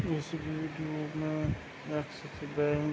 ऐसी धुप में एक्सिस बैंक --